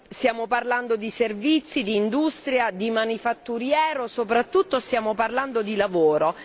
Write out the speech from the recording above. Stiamo parlando di servizi, di industria, di manifatturiero, e soprattutto stiamo parlando di lavoro.